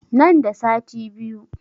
Nan da sati biyu